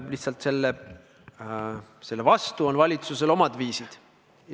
Lihtsalt selle vastu on valitsusel omad viisid.